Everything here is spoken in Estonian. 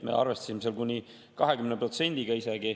Me arvestasime seal isegi kuni 20%-ga.